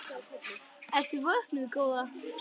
Ertu vöknuð góða?